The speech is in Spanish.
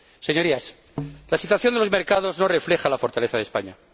Señorías, la situación de los mercados no refleja la fortaleza de España.